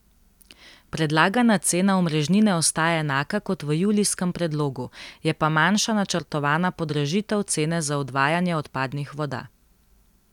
Predlagana cena omrežnine ostaja enaka kot v julijskem predlogu, je pa manjša načrtovana podražitev cene za odvajanje odpadnih voda.